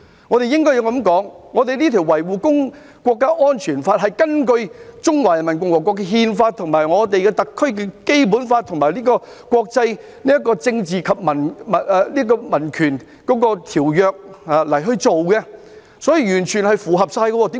我們應該這樣說：我們這項《香港國安法》是根據中華人民共和國的憲法、特區的《基本法》和有關政治和民權的國際條約而制定的，所以是完全符合規定的。